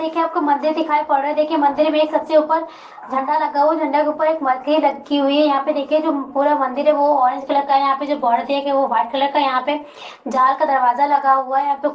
देखिये आपको मंदिर दिखाई पड रहा है| देखिये मंदिर में सब से ऊपर झंडा लगा हुआ है| झंडा के ऊपर एक मरकरी लगी हुई है| यहाँ पर देखिये जो पूरा मदिर है वो ऑरेंज कलर का है| यहाँ पे जो बॉर्डर दिया गया है वो वाइट कलर का है| यहाँ पे जाल का दरवाजा लगा हुआ है।